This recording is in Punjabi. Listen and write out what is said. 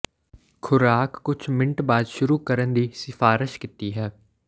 ਖ਼ੁਰਾਕ ਕੁਝ ਮਿੰਟ ਬਾਅਦ ਸ਼ੁਰੂ ਕਰਨ ਦੀ ਸਿਫਾਰਸ਼ ਕੀਤੀ ਹੈ